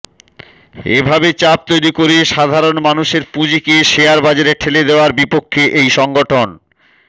এ ভাবে চাপ তৈরি করে সাধারণ মানুষের পুঁজিকে শেয়ার বাজারে ঠেলে দেওয়ার বিপক্ষে এই সংগঠন